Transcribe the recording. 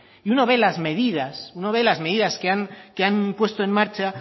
y uno ve las medidas que han puesto en marcha